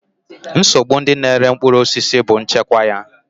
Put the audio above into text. Nsogbu ndị na-ere mkpụrụ osisi bụ nchekwa ya.